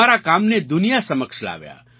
અમારા કામને દુનિયા સમક્ષ લાવ્યા